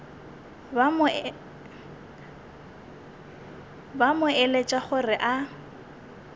ba mo eletša gore a